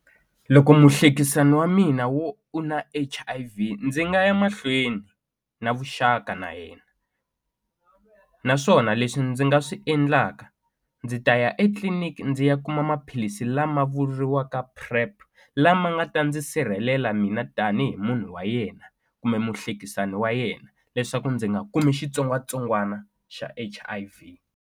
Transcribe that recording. Loko muhlekisani wa mina wo u na H_I_V ndzi nga ya mahlweni na vuxaka na yena naswona leswi ndzi nga swi endlaka ndzi ta ya etliliniki ndzi ya kuma maphilisi lama vuriwaka PrEP lama nga ta ndzi sirhelela mina tanihi munhu wa yena kumbe muhlekisani wa yena leswaku ndzi nga kumi xitsongwatsongwana xa H_I_V.